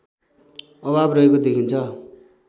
अभाव रहेको देखिन्छ